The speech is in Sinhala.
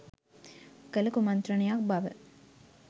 කළ කුමන්ත්‍රණයක් බව